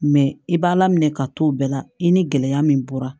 Mɛ i b'a laminɛ ka to o bɛɛ la i ni gɛlɛya min bɔra